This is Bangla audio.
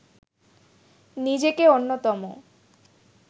নিজেকে অন্যতম